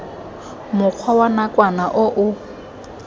mokgwa wa nakwana o o